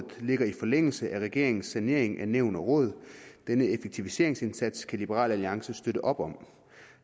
ligger i forlængelse af regeringens sanering af nævn og råd denne effektiviseringsindsats kan liberal alliance støtte op om